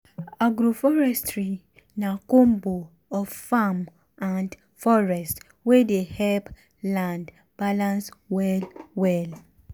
agroforestry na combo of farm and forest wey dey help land balance well well.